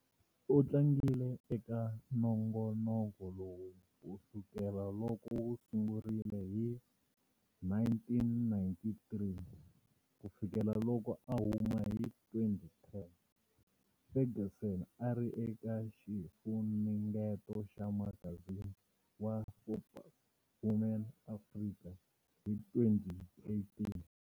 U tlangile eka nongonoko lowu ku sukela loko wu sungurile hi 1993 ku fikela loko a huma hi 2010. Ferguson a ri eka xifunengeto xa magazini wa"Forbes Woman Africa" hi 2018.